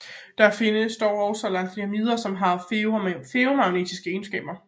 Der findes dog også Lanthanider som har ferromagnetiske egenskaber